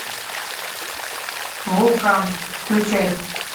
вулкан включай